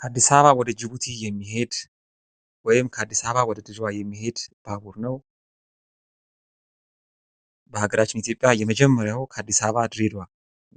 ከአዲስ አበባ ወደ ጅቡቲ የሚሄድ ባቡር ነው ።በሀገራችን ኢትዮጵያ የመጀመሪያው ከአዲስ አበባ ወደ ድሬድዋ